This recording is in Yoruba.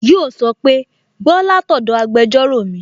Yíò sọ pé "Gbọ́ látọ̀dọ̀ agbẹjọ́rò mi!"